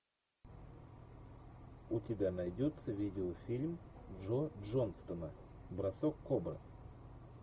у тебя найдется видеофильм джо джонстона бросок кобры